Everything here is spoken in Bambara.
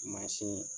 Mansin